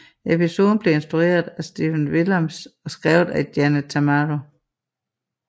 Episoden blev instrueret af Stephen Williams og skrevet af Janet Tamaro